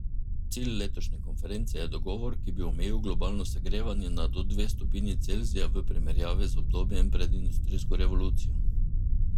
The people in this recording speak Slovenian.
Cilj letošnje konference je dogovor, ki bi omejil globalno segrevanje na do dve stopinji Celzija v primerjavi z obdobjem pred industrijsko revolucijo.